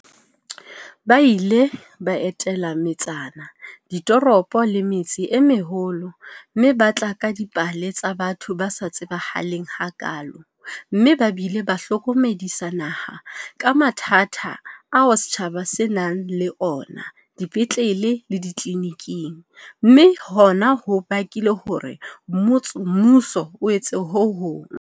Ba ile ba etela metsana, ditoropo le metse e meholo mme ba tla ka dipale tsa batho ba sa tsebahaleng hakaalo mme ba bile ba hlokomedisa naha ka mathata ao setjhaba se nang le ona dipetlele le ditleliniking, mme hona ho bakile hore mmuso o etse ho hong.